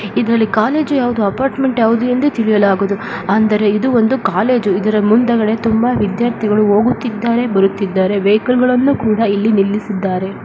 ಇದರಲ್ಲಿ ಕಾಲೇಜು ಯಾವ್ದು ಅಪಾರ್ಟ್ಮೆಂಟ್ ಯಾವ್ದು ಎಂದು ತಿಳಿಯಲಾಗದು ಅಂದರೆ ಇದು ಒಂದು ಕಾಲೇಜು ಇದರ ಮುಂದುಗಡೆ ವಿದ್ಯಾರ್ಥಿಗಳು ಹೋಗುತ್ತಿದ್ದಾರೆ ಬರುತಿದ್ದಾರೆ ವೆಹಿಕಲ್ ಗಳನ್ನೂ ಕೂಡ ಇಲ್ಲಿ ನಿಲ್ಲಿಸಿದ್ದಾರೆ .